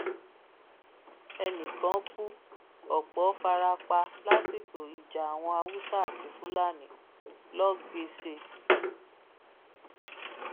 ẹnì kan kú ọpọ fara pa lásìkò ìjà àwọn haúsá àti fúlàní lọgbèsè